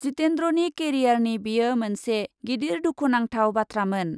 जितेन्द्रनि केरियारनि बेयो मोनसे गिदिर दुखुनांथाव बाथ्रामोन ।